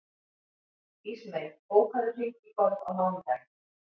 Ísmey, bókaðu hring í golf á mánudaginn.